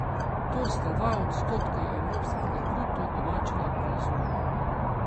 To sta dva odstotka evropskega bruto domačega proizvoda.